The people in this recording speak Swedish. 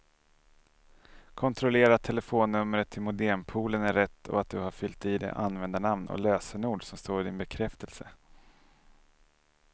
Kontrollera att telefonnumret till modempoolen är rätt och att du har fyllt i det användarnamn och lösenord som står i din bekräftelse.